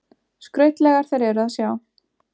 Skrautlegar þær eru að sjá.